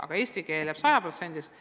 Aga eesti keel jääb sajaprotsendiliselt.